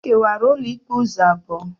E kewara ụlọikpe ụzọ abụọ.